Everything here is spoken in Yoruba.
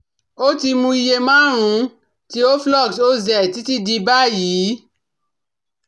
ó ti mu iye márùn-ún ti Oflox OZ títí di báyìí